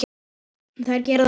Þær gera það líka?